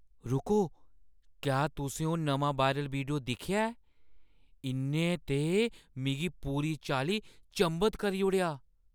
रुको, क्या तुसें ओह् नमां वायरल वीडियो दिक्खेआ ऐ? इʼन्नै ते मिगी पूरी चाल्ली चंभत करी ओड़ेआ!